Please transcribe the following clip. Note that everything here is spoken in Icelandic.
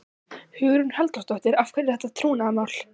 Hugrún Halldórsdóttir: Af hverju er þetta trúnaðarmál?